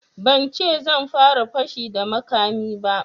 Ban ce zan fara fashi da makami ba